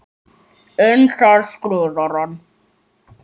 Um það skrifar hann